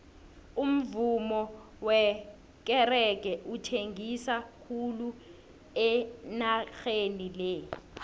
umuvummo wekerege uthengisa khulu enageni le